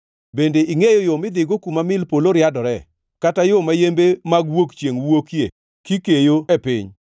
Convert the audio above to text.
Bende ingʼeyo yo midhigo kuma mil polo riadore, kata yo ma yembe mag wuok chiengʼ wuokie kikeyo e piny?